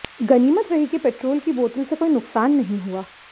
गनीमत रही कि पेट्रोल की बोतल से कोई नुकसान नहीं हुआ